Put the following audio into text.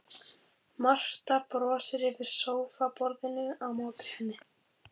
Marta brosir yfir sófaborðinu á móti henni.